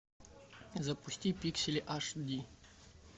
запусти пиксели аш ди